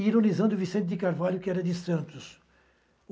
Ironizando o Vicente de Carvalho, que era de Santos.